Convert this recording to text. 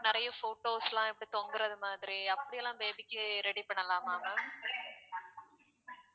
நிறைய photos லாம் எப்படி தொங்குறது மாதிரி அப்படி எல்லாம் baby க்கு ready பண்ணலாமா ma'am